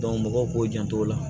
mɔgɔw k'u jant'o la